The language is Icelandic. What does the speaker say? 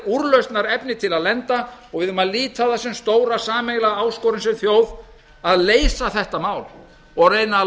úrlausnarefni til að lenda og við eigum að líta á það sem stóra sameiginlega áskorun sem þjóð að leysa þetta mál og reyna að